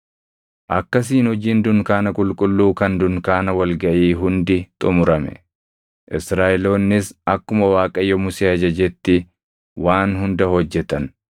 Akkasiin hojiin dunkaana qulqulluu kan dunkaana wal gaʼii hundi xumurame. Israaʼeloonnis akkuma Waaqayyo Musee ajajetti waan hunda hojjetan.